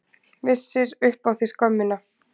Vissir upp á þig skömmina.